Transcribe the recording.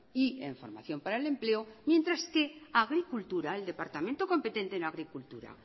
y en formación para el empleo mientras que agricultura el departamento competente en agricultura